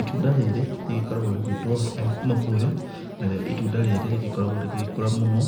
Itunda rĩrĩ rĩgĩkoragwo rĩgĩtwo mambuyu narĩo itunda rĩrĩ rĩgĩkoragwo rĩgĩgĩkũra mũno